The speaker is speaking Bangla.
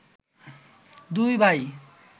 দুই ভাই